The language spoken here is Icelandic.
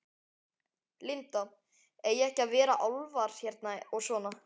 Linda: Eiga ekki að vera álfar hérna og svona?